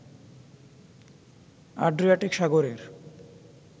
Adriatic সাগরের